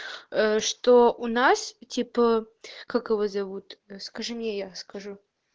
что у нас типа как его зовут скажи мне я скажу